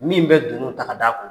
Min bɛ dunun ta k'a d'a kun.